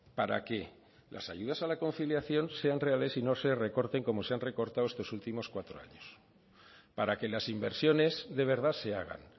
para que las ayudas a la conciliación sean reales y no se recorten como se han recortado estos últimos cuatro años para que las inversiones de verdad se hagan